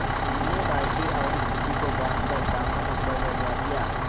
मैंने बाल्टी और घिर्री को बाँधकर सामान ऊपर चढ़वा दिया